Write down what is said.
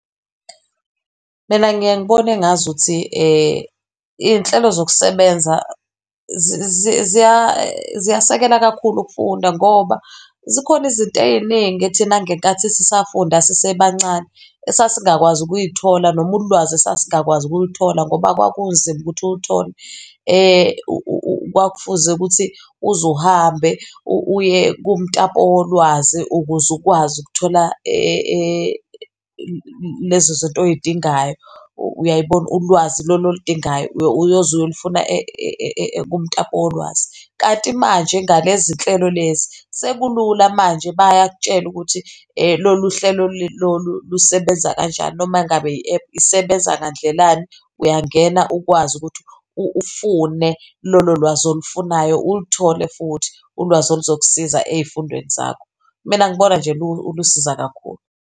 Mina ngiye ngibone engazuthi iy'nhlelo zokusebenza ziyasekela kakhulu ukufunda ngoba zikhona izinto ey'ningi thina ngenkathi sisafunda sisebancane esasingakwazi ukuy'thola noma ulwazi esasingakwazi ukuluthola, ngoba kwakunzima ukuthi uluthol. Kwakufuze ukuthi uzuhambe uye kumtapo wolwazi ukuze ukwazi ukuthola lezo zinto oy'dingayo, uyay'bona? Ulwazi lolu ol'dingayo, uyoze uyolufuna kumtapo wolwazi. Kanti manje ngalezi nhlelo lezi, sekulula manje bayakutshela ukuthi lolu hlelo lolu lusebenza kanjani noma ngabe i-app isebenza ngandlelani, uyangena ukwazi ukuthi ufune lolo lwazi olufunayo, uluthole futhi ulwazi oluzokusiza ey'fundweni zakho. Mina ngibona nje lusiza kakhulu.